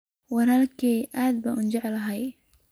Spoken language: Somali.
Walalkey aad baan ujeclhy.